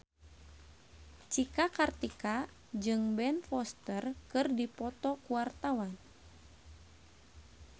Cika Kartika jeung Ben Foster keur dipoto ku wartawan